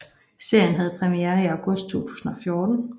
Serien havde premiere i august 2014